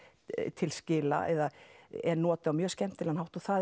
til skila eða er notuð á mjög skemmtilegan hátt og það